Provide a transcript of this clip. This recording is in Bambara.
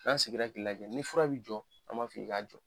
N'an sigira k'i lajɛ ni fura bɛ jɔ an b'a fɔ i k'a jɔ.